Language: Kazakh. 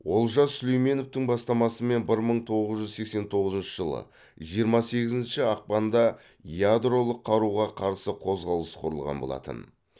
олжас сүлейменовтің бастамасымен бір мың тоғыз жүз сексен тоғызыншы жылы жиырма сегізінші ақпанда ядролық қаруға қарсы қозғалыс құрылған болатын